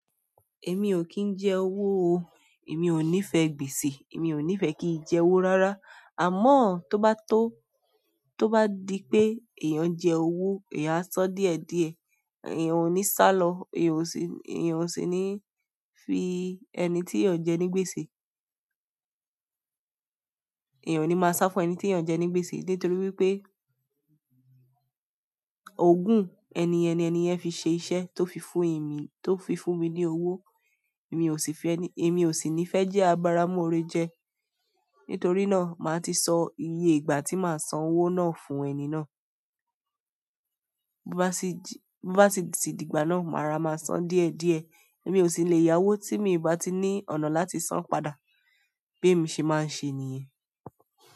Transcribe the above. Èmi ò kí ń jẹ owó o. Èmi ò nífẹ̀ẹ́ gbèsè. Èmi ò nífẹ̀ẹ́ kí n jẹ owó rárá. Àmọ́ tó bá tó, tó bá di pé èèyàn jẹ owó, èèyàn á sán díẹ̀ díẹ̀. Èèyàn ò ní sálọ, èèyàn ò sì, èèyàn ò sì níí fi ẹni tí èèyàn jẹ ní gbèsè. Èèyàn o ní máa sá fún ẹni tí èèyàn jẹ ní gbèsè nítorí wípé ògùn ẹni ẹni, ẹni yẹn fi ṣe iṣẹ́ tó fi fún èmi, tó fi fún mi ní owó. Èmi ò sì fe ẹni, èmi ò sì ní fẹ́ jẹ́ abaramúré jẹ. Nítorí náà, màá ti sọ iye ìgbà tí màá san owó náà fún ẹni náà. Bo bá sì dí, sì di ìgbà náà, má rora máa san díẹ̀ díẹ̀. Èmi ò sì le yá owó tí mi bá ti ní ọ̀nà láti san padà. Bí èmi ṣe máa ń ṣe nìyẹn.